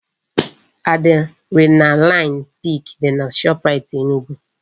Adrenaline pik dị na Shoprite Enugu